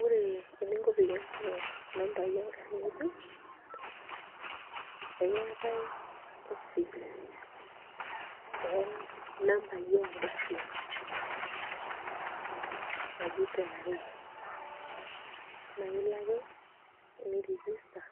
Ore eninko peyie ing'oru nambai engarri ng'ejuk naa keetai ekeetai office oo nambai ogarrin naji KRA baa ilo ake niregister